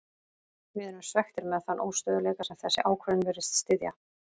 Við erum svekktir með þann óstöðugleika sem þessi ákvörðun virðist styðja.